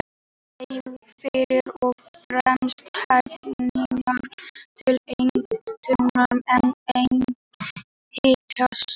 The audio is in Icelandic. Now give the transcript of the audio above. Hann lagði fyrst og fremst efnainnihaldið til grundvallar, en einnig hitastigið.